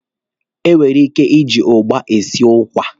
E nwere ike iji ụgba esi ụkwa.